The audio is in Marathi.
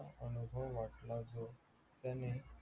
अनुभव वाटला जो त्याने